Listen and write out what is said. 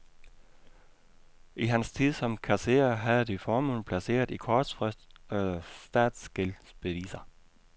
I hans tid som kasserer havde de formuen placeret i kortfristede statsgældsbeviser.